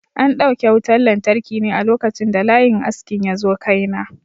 An dauke wutan lantarki ne a lokacin da layin askin yazo kai na.